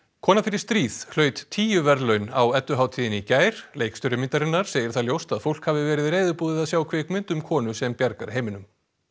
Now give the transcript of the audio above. kona fer í stríð hlaut tíu verðlaun á Edduhátíðinni í gær leikstjóri myndarinnar segir það ljóst að fólk hafi verið reiðubúið að sjá kvikmynd um konu sem bjargar heiminum